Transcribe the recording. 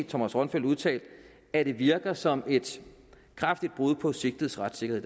thomas rønfeldt udtalt at det virker som et kraftigt brud på sigtedes retssikkerhed